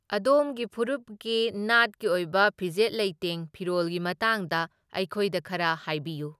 ꯑꯗꯣꯝꯒꯤ ꯐꯨꯔꯨꯞꯀꯤ ꯅꯥꯠꯀꯤ ꯑꯣꯏꯕ ꯐꯤꯖꯦꯠ ꯂꯩꯇꯦꯡ ꯐꯤꯔꯣꯜꯒꯤ ꯃꯇꯥꯡꯗ ꯑꯩꯈꯣꯏꯗ ꯈꯔ ꯍꯥꯏꯕꯤꯌꯨ꯫